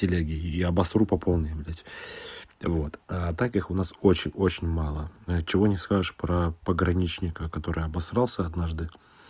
в телеге и обосру по полной блядь вот а так их у нас очень очень мало чего не скажешь про пограничника который обасрался однажды